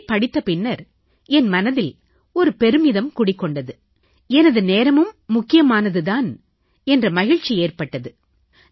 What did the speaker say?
இதைப் படித்த பின்னர் என் மனதில் ஒரு பெருமிதம் குடிகொண்டது எனது நேரமும் முக்கியமானது தான் என்ற மகிழ்ச்சி ஏற்பட்டது